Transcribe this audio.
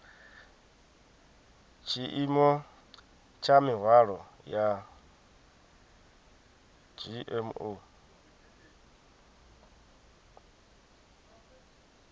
tshiimo tsha mihwalo ya dzgmo